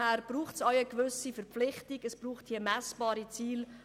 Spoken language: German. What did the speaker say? Deshalb braucht es auch eine Verpflichtung und messbare Ziele.